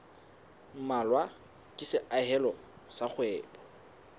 mmalwa ke seahelo sa kgwebo